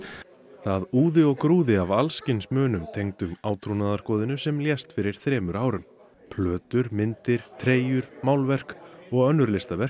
það úði og grúði af alls kyns munum tengdum átrúnaðargoðinu sem lést fyrir þremur árum plötur myndir treyjur málverk og önnur listaverk